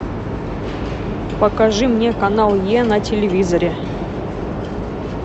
покажи мне канал е на телевизоре